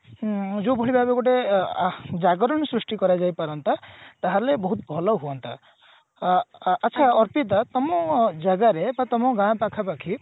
ଉଁ ଯୋଉଭଳି ଭାବେ ଗୋଟେ ଅ ଅ ଜାଗରଣ ସୃଷ୍ଟି କରାଯାଇ ପାରନ୍ତା ତାହେଲେ ବହୁତ ଭଲ ହୁଅନ୍ତା ଅ ଆଛା ଅର୍ପିତା ତମ ଜାଗାରେ ବା ତମ ଗାଁ ପାଖାପାଖି